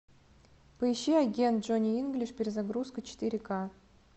поищи агент джонни инглиш перезагрузка четыре ка